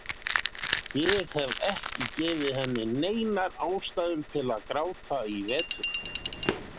Ég hef ekki gefið henni neinar ástæður til að gráta í vetur.